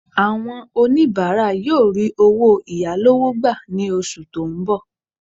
Àwọn oníbàárà yóò rí owó ìyálọ́wọ́ gbà ní oṣù tó ń bọ̀